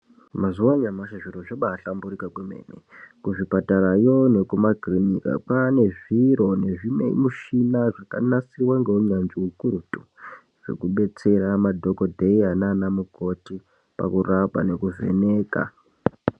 Mazuwa anyamashi zviro zvabasamburika kwemene kuzvipatarayo nekumakirinika pane zviro nezvimamushina zvakanasiwa ngehunanzvi hwekuretu zvekubetsera madhokodheya nanamukoti pakurapa nepakuvheneka .